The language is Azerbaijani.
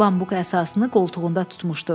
Bambuq əsasını qoltuğunda tutmuşdu.